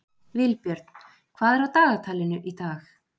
Vilbjörn, hvað er á dagatalinu í dag?